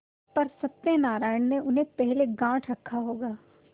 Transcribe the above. पर सत्यनारायण ने उन्हें पहले गॉँठ रखा होगा